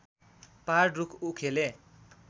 पहाड रूख उखेले